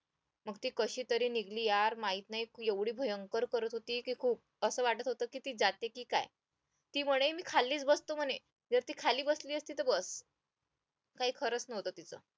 मग ती कशीतरी निघाली यार माहित नाही ती एवढी भयंकर करत होती की खुप असं वाटत होतं की ती जाते की काय ती म्हणे मी खालीच बसतो म्हणे गर्दी खाली बसली असती तर बस काय खरंच नव्हतं तिचं